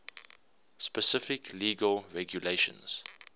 specific legal regulations